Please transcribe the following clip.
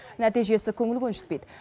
нәтижесі көңіл көншітпейді